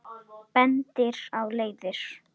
Bendir á leiðir.